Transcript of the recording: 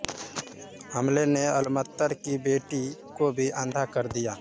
हमले ने अलअत्तर की बेटी को भी अंधा कर दिया